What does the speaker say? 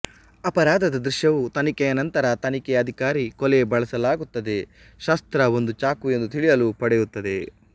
ಅಪರಾಧದ ದೃಶ್ಯವು ತನಿಖೆಯ ನಂತರ ತನಿಖೆ ಅಧಿಕಾರಿ ಕೊಲೆ ಬಳಸಲಾಗುತ್ತದೆ ಶಸ್ತ್ರ ಒಂದು ಚಾಕು ಎಂದು ತಿಳಿಯಲು ಪಡೆಯುತ್ತದೆ